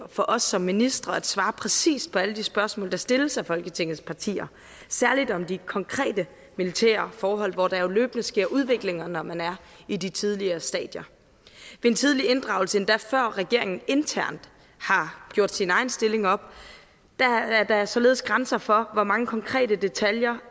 for os som ministre at svare præcist på alle de spørgsmål der stilles af folketingets partier særligt om de konkrete militære forhold hvor der jo løbende sker udviklinger når man er i de tidlige stadier ved en tidlig inddragelse endda før regeringen internt har gjort sin egen stilling op er der således grænser for hvor mange konkrete detaljer